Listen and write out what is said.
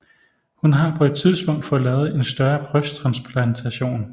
Hun har på et tidspunkt fået lavet en større brysttransplantation